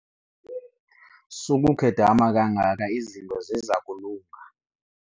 Sukukhedama kangaka izinto ziza kulunga.